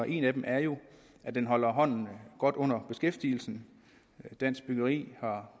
en af dem er jo at den holder hånden godt under beskæftigelsen dansk byggeri har